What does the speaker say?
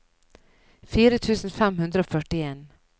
fire tusen fem hundre og førtien